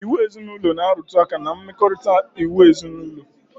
Iwu ezinaụlọ na-arụtụ aka ná mmekọrịta ndị òtù ezinaụlọ